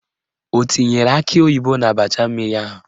O tinyere akị oyibo n'abacha mmiri ahụ?